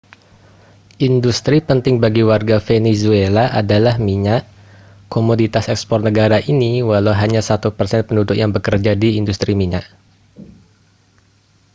industri penting bagi warga venezuela adalah minyak komoditas ekspor negara ini walau hanya satu persen penduduk yang bekerja di industri minyak